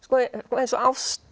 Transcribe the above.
eins og ást